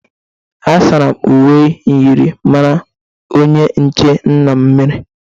Asara m uwe myịrịmara onye nche nna m miri.